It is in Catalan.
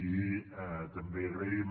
i també agraïm